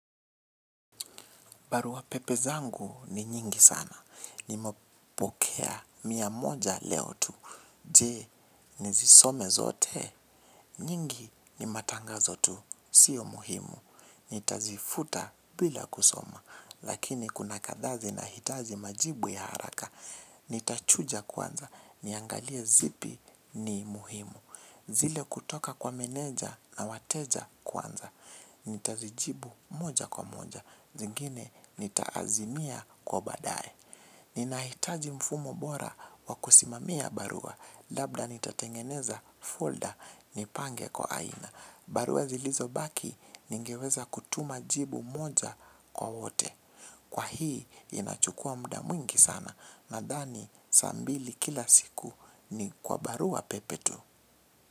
Barua pepe zangu ni nyingi sana. Ni mepokea miamoja leo tu. Je, nizisome zote. Nyingi ni matanga zotu. Sio muhimu. Nitazifuta bila kusoma. Lakini kuna kadhaazi na hitaji majibu ya haraka. Nitachuja kwanza. Niangalie zipi ni muhimu. Zile kutoka kwa meneja na wateja kwanza. Nitazijibu moja kwa moja. Zingine nitaazimia kwa baadaye. Ninahitaji mfumo bora wa kusimamia barua. Labda nitatengeneza folder nipange kwa aina. Barua zilizobaki ningeweza kutuma jibu moja kwa wote. Kwa hii inachukua muda mwingi sana. Nadhani sambili kila siku ni kwa barua pepetu.